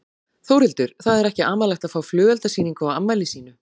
Þórhildur: Það er ekki amalegt að fá flugeldasýningu á afmæli sínu?